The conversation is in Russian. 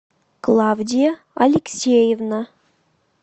клавдия алексеевна